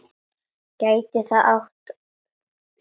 Gæti það átt sér stað?